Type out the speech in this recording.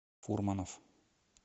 фурманов